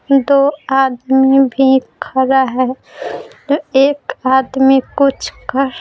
दो आदमी भी खड़ा है एक आदमी कुछ कर --